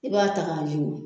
I b'a ta k'a wiyeku